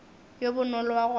yo bonolo wa go rata